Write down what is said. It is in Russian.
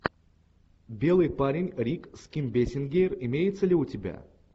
белый парень рик с ким бейсингер имеется ли у тебя